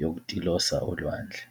yokutilosa olwandle.